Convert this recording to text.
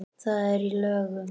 Það er í lögum.